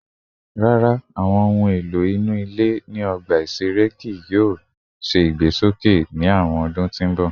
Rara, awọn ohun elo inu ile ni ọgba iṣere kii yoo ṣe igbesoke ni awọn ọdun ti n bọ